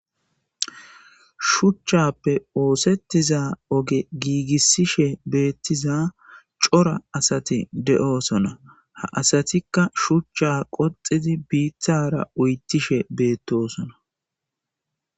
Shuchchappe oosettiza oge giigissishe beettiza cora asati de7oosona ha asatikka shuchcha qoxidi biithara uyttishe beettosona.